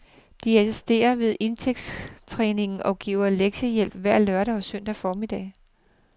De assisterer ved idrætstræningen og giver lektiehjælp hver lørdag og søndag formiddag.